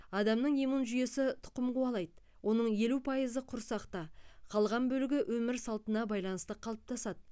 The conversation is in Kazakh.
адамның иммун жүйесі тұқым қуалайды оның елу пайызы құрсақта қалған бөлігі өмір салтына байланысты қалыптасады